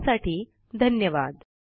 सहभागासाठी धन्यवाद